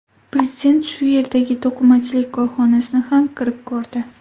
Prezident shu yerdagi to‘qimachilik korxonasini ham kirib ko‘rdi.